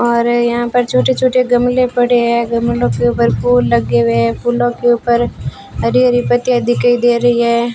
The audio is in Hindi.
हमारे यहां पर छोटे छोटे गमले पड़े हैं गमलों के ऊपर फूल लगे हुए हैं फूलों के ऊपर हरी हरी पत्तियां दिखाई दे रही हैं।